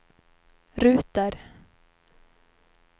ruter